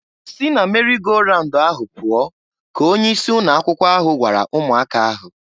"Si na meri go raun ahụ pụọ!" ka onye isi ụnọ akwụkwọ ahụ gwara ụmụaka ahụ.